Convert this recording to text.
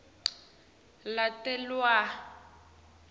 latalelwa